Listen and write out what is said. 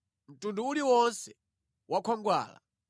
mtundu uliwonse wa khwangwala,